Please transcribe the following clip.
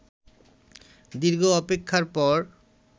দীর্ঘ অপেক্ষার পর